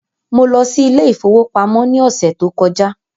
Mo lọ sí ilé ìfowópamọ́ ní ọ̀sẹ̀ tó kọjá́.